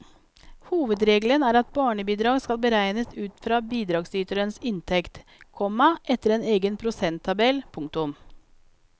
Hovedregelen er at barnebidrag skal beregnes ut fra bidragsyterens inntekt, komma etter en egen prosenttabell. punktum